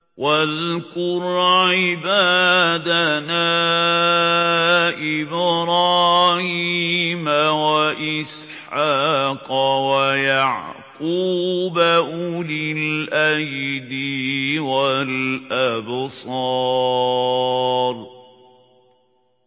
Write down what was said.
وَاذْكُرْ عِبَادَنَا إِبْرَاهِيمَ وَإِسْحَاقَ وَيَعْقُوبَ أُولِي الْأَيْدِي وَالْأَبْصَارِ